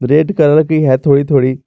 red colour की है थोड़ी थोड़ी--